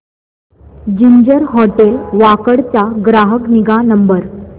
ginger hotel Wakad चा ग्राहक निगा नंबर